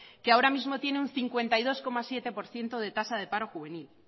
que ahora mismo tiene un cincuenta y dos coma siete por ciento de tasa de paro juvenil